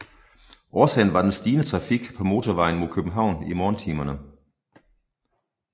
Årsagen var den stigende trafik på motorvejen mod København i morgentimerne